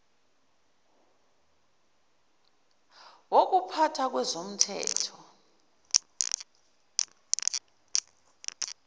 wokupha tha kwezomthetho